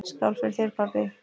Skál fyrir þér, pabbi!